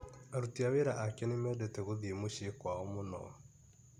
Aruti a wĩra ake nĩ mendete gũthiĩ mũciĩ kwao mũno.